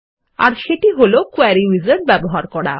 এর সেটি হল কোয়েরি উইজার্ড ব্যবহার করা